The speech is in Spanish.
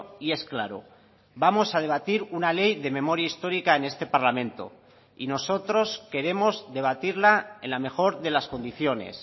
y es claro vamos a debatir una ley de memoria histórica en este parlamento y nosotros queremos debatirla en la mejor de las condiciones